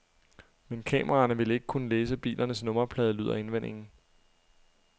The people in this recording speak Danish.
Men kameraerne vil ikke kunne læse bilernes nummerplade, lyder indvendingen.